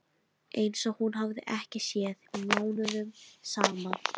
Einsog hún hafi ekki séð mig mánuðum saman.